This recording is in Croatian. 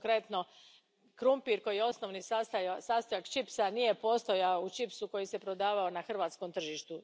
Konkretno, krumpir koji je osnovni sastojak čipsa nije postojao u čipsu koji se prodavao na hrvatskom tržištu.